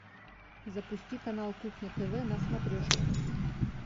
запусти канал кухня тв на смотрешке